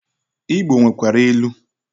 Igbo nwekwara ilu.